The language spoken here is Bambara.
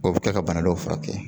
O bɛ kɛ ka bana dɔ furakɛ